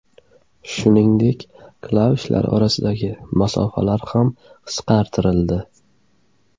Shuningdek, klavishlar orasidagi masofalar ham qisqartirildi.